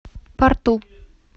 порту